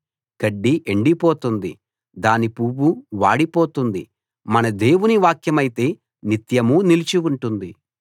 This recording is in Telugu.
గడ్డి ఎండిపోతుంది దాని పువ్వు వాడిపోతుంది మన దేవుని వాక్యమైతే నిత్యమూ నిలిచి ఉంటుంది